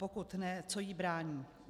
Pokud ne, co jí brání?